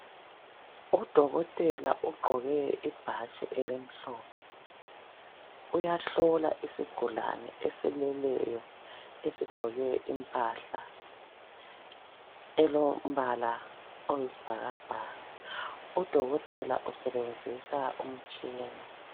Udokotela ugqoke ibhatshi elimhlophe uyahlola isigulane esileleyo esigqoke impahla elombala oyisibhakabhaka Udokotela usebenzisa umtshina.